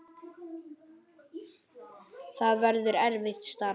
Það verður erfitt starf.